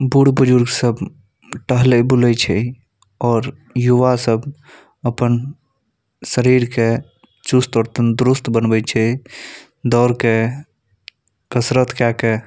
बुर्ज-बुजुर्ग सब टहले बुले छै और युवा सब अपन शरीर चुस्त और तंदुरुस्त बनवे छै दौड़ के कसरत केय के --